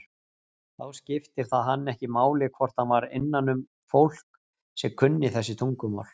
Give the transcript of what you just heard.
Þá skipti það hann ekki máli hvort hann var innanum fólk sem kunni þessi tungumál.